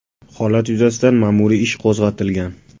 Holat yuzasidan ma’muriy ish qo‘zg‘atilgan.